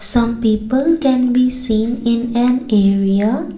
some people can be seen in an area.